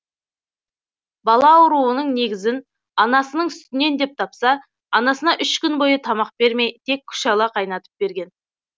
бала ауруының негізін анасының сүтінен деп тапса анасына үш күн бойы тамақ бермей тек күшала қайнатып берген